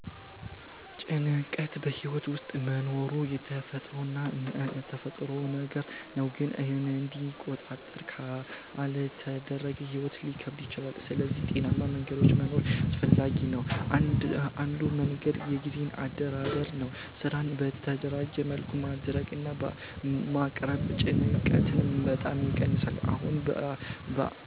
ጭንቀት በሕይወት ውስጥ መኖሩ የተፈጥሮ ነገር ነው፣ ግን እንዲቆጣጠር ካልተደረገ ሕይወት ሊከብድ ይችላል። ስለዚህ ጤናማ መንገዶች መኖር አስፈላጊ ነው። አንዱ መንገድ የጊዜ አደራደር ነው። ስራን በተደራጀ መልኩ ማድረግ እና ማቅረብ ጭንቀትን በጣም ይቀንሳል።